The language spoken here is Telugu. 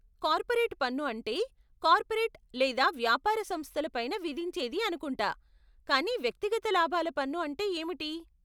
కార్పోరేట్ పన్ను అంటే కార్పోరేట్ లేదా వ్యాపార సంస్థల పైన విధించేది అనుకుంటా కానీ వ్యక్తిగత లాభాల పన్ను అంటే ఏమిటి?